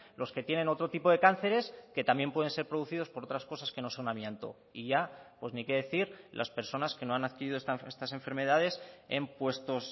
los que tienen otro tipo de cánceres que también pueden ser producidos por otras cosas que no son amianto y ya pues ni qué decir las personas que no han adquirido estas enfermedades en puestos